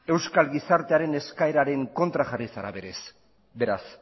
euskal gizartearen eskaeraren kontra jarri zara beraz